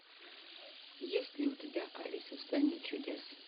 есть ли у тебя алиса в стране чудес